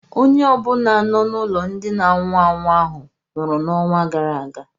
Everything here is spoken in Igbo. Onye ọ bụla nọ n'ụlọ ndị na anwụ anwụ ahụ nwụrụ n'ọnwa gara aga